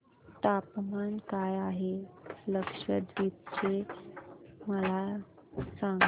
तापमान काय आहे लक्षद्वीप चे मला सांगा